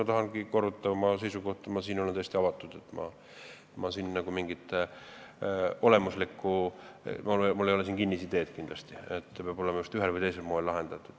Ma tahan korrata oma seisukohta, et ma siin olen täiesti avatud, mul ei ole kindlasti kinnisideed, et see peab olema just ühel või teisel moel lahendatud.